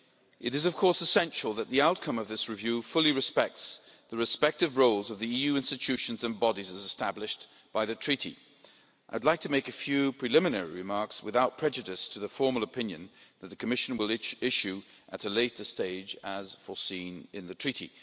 It is, of course, essential that the outcome of this review fully respects the respective roles of the EU institutions and bodies as established by the Treaty. I'd like to make a few preliminary remarks without prejudice to the formal opinion that the Commission will issue at a later stage, as foreseen in the Treaty.